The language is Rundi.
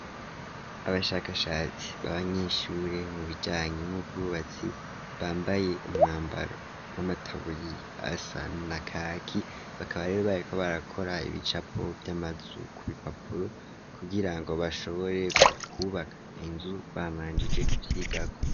Abashakashatsi babanyeshure mu bijanye n'ubwubatsi bambaye umwambaro w'amataburiya asa nakaki bakaba areribaye ko barakora ibicapo by'amazu ku bipapuro kugira ngo bashobore kw'ubaka inzu bamanjije kuvyigako.